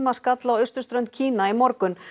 skall á austurströnd Kína í morgun